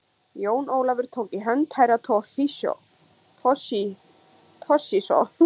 Jón Ólafur tók í hönd Herra Toshizo.